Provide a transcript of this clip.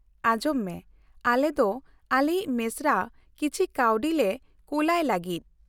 -ᱟᱸᱡᱚᱢ ᱢᱮ, ᱟᱞᱮ ᱫᱚ ᱟᱞᱮᱭᱤᱡ ᱢᱮᱥᱨᱟ ᱠᱤᱪᱷᱤ ᱠᱟᱣᱰᱤᱞᱮ ᱠᱳᱞᱟᱭ ᱞᱟᱹᱜᱤᱫ ᱾